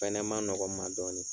fɛnɛ man nɔgɔ n ma dɔɔni..